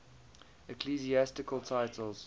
ecclesiastical titles